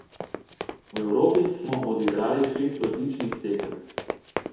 V Evropi smo odigrali šest odličnih tekem.